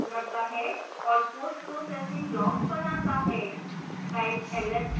यह case run करता है और postprocessing log बनाता है